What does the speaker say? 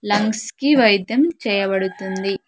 Lungs కి వైద్యం చేయబడుతుంది.